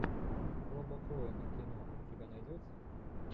роба коэна кино у тебя найдется